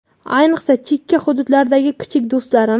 ayniqsa chekka hududlardagi kichik do‘stlarim.